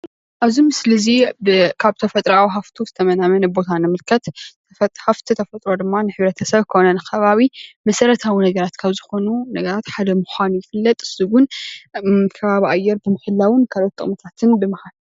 ኣብዚ ምስሊ እዚ ካብ ተፈጥሮ ሃፍቲዊ ሃፍቱ ዝተመናመነ ንምልከት፣ ሃፍቲ ተፈጥሮ ድማ ንሕ/ሰብ ኮነ ንከባቢ መሰረተዊ ነገራት ካብ ዝኮኑ ነገራት ሓደ ምኳኑ ይፍለጥ፡፡ ንሱውን ከባቢ ኣየር ብምሕላውን ካልኦት ጥቅምታት ብምሃብ